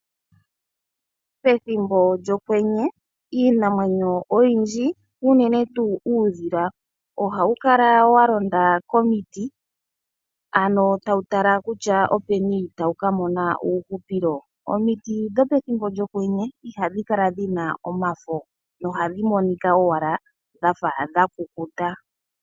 Pethimbo lyokwenye iinamwenyo oyindji unene tuu uudhila ohawu kala wa londa komiti ano tawu tala kutya openi tawu ka mona uuhupilo. Omiti dhopethimbo lyokwenye ihadhi kala dhi na omafo noha dhi monika owala dhafa dha kukuta.